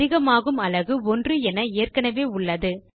அதிகமாகும் அலகு 1 என ஏற்கெனெவே உள்ளது